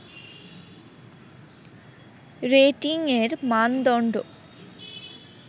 রেটিংয়ের মানদণ্ড